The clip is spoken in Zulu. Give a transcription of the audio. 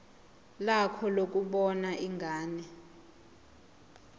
lakho lokubona ingane